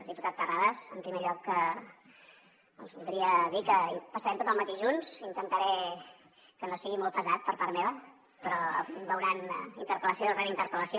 diputat terrades en primer lloc els hi voldria dir que passarem tot el matí junts intentaré que no sigui molt pesat per part meva però em veuran interpel·lació rere interpel·lació